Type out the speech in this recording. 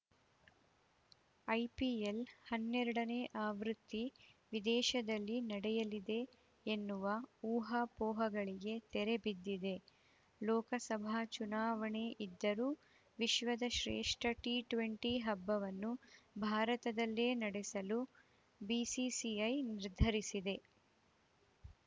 IPL ಹನ್ನೆರಡನೇ ಆವೃತ್ತಿ ವಿದೇಶದಲ್ಲಿ ನಡೆಯಲಿದೆ ಎನ್ನುವ ಊಹಾಪೋಹಗಳಿಗೆ ತೆರೆ ಬಿದ್ದಿದೆ ಲೋಕಸಭಾ ಚುನಾವಣೆ ಇದ್ದರೂ ವಿಶ್ವದ ಶ್ರೇಷ್ಠ ಟಿ ಟ್ವೆಂಟಿ ಹಬ್ಬವನ್ನು ಭಾರತದಲ್ಲೇ ನಡೆಸಲು ಬಿಸಿಸಿಐ ನಿರ್ಧರಿಸಿದೆ